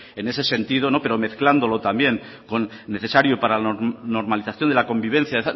en ese sentido pero mezclándolo también con necesario para la normalización de la convivencia